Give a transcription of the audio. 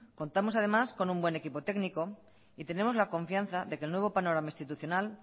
contamos además con un buen equipo técnico y tenemos la confianza de que el nuevo panorama institucional